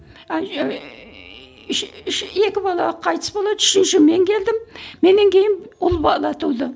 үш үш екі бала қайтыс болады үшінші мен келдім меннен кейін ұл бала туды